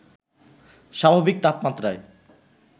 স্বাভাবিক তাপমাত্রায়